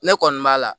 Ne kɔni b'a la